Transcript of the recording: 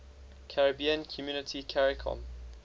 caribbean community caricom